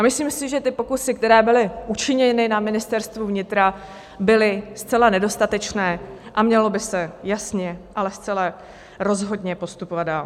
A myslím si, že ty pokusy, které byly učiněny na Ministerstvu vnitra, byly zcela nedostatečné a mělo by se jasně, ale zcela rozhodně postupovat dál.